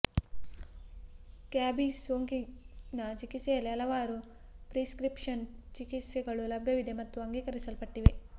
scabies ಸೋಂಕಿನ ಚಿಕಿತ್ಸೆಯಲ್ಲಿ ಹಲವಾರು ಪ್ರಿಸ್ಕ್ರಿಪ್ಷನ್ ಚಿಕಿತ್ಸೆಗಳು ಲಭ್ಯವಿವೆ ಮತ್ತು ಅಂಗೀಕರಿಸಲ್ಪಟ್ಟಿವೆ